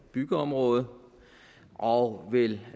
byggeområdet og vel